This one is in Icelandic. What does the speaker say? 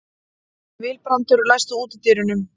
Vilbrandur, læstu útidyrunum.